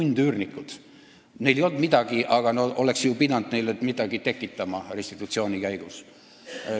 Sundüürnikel ei olnud midagi, aga neile oleks ju pidanud midagi tekitama restitutsiooni käigus.